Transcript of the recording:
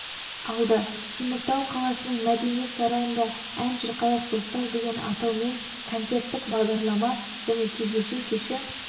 алды теміртау қаласының мәдениет сарайында ән шырқайық достар деген атаумен концерттік бағдарлама және кездесу кеші